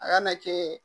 A kana kɛ